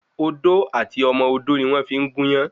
Odò àti ọmọ odó ni wọ́n fi ń gúnyán